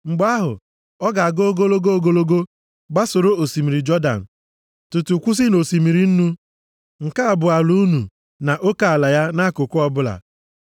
Mgbe ahụ, ọ ga-aga ogologo ogologo, gbasoro osimiri Jọdan, tutu kwụsị nʼOsimiri Nnu. “ ‘Nke a bụ ala unu, na oke ala ya nʼakụkụ ọbụla.’ ”